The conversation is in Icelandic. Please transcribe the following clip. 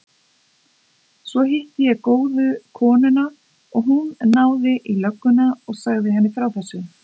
Svo hitti ég góðu konuna og hún náði í lögguna og sagði henni frá þessu.